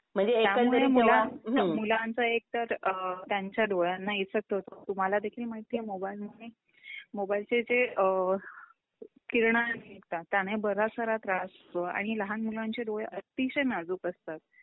त्यामुळे मूळ मुलांचा एकतर अ अ त्यांच्या डोळ्यांना इफेक्ट होतो. तुम्हाला देखील माहितीये मोबाइल मुळे मोबाइलचे जे अअ किरण निघतात त्याने त्रास होतो आणि लहान मुलांचे डोळे अतिशय नाजूक असतात.